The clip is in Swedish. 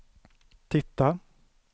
titta